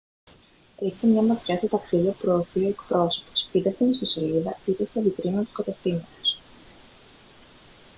ρίξτε μια ματιά στα ταξίδια που προωθεί ο εκπρόσωπος είτε στην ιστοσελίδα είτε σε βιτρίνα του καταστήματος